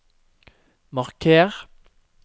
marker